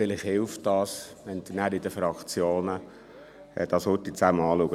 Vielleicht hilft es, wenn Sie dies in den Fraktionen kurz zusammen anschauen.